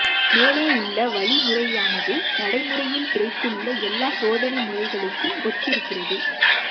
மேலே உள்ள வழிமுறையானது நடைமுறையில் கிடைத்துள்ள எல்லா சோதனை முறைகளுக்கும் ஒத்திருக்கிறது